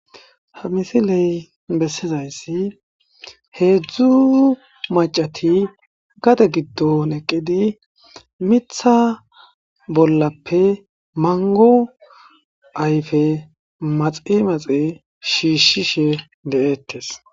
Haa missileyi bessizayissi hezhzhu macati gade giddonni eqiddi miththa bollappe manigo ayife maxi maxi shishshishe de'etees.